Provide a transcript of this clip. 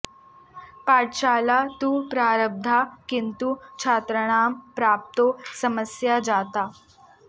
पाठशाला तु प्रारब्धा किन्तु छात्राणां प्राप्तौ समस्या जाता